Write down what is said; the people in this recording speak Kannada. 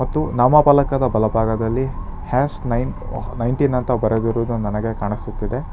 ಮತ್ತು ನಾಮಫಲಕಾದ ಬಲಭಾಗದಲ್ಲಿ ಹ್ಯಾಷ್ ನೈನ್ ನೈನ್ ಟೀನ್ ಅಂತ ಬರೆದಿರುವುದು ಕಾಣಿಸುತ್ತಿದೆ.